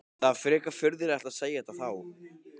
Það er frekar furðulegt að segja þetta þá?